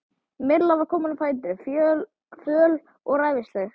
Milla var komin á fætur, föl og ræfilsleg.